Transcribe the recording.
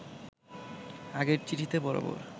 আগের চিঠিতে বরাবর